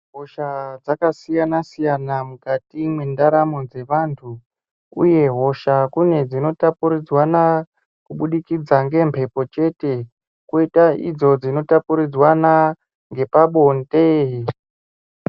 Hosha dzakasiyana siyana mukati mwendaramo dzevantu uye hosha kune dzino tapuridzanwa kubudikidza ngemhepo chte koita idzo dzinotapuridzanwa nepabonde.